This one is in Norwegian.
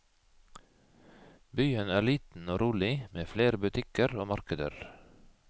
Byen er liten og rolig med flere butikker og markeder.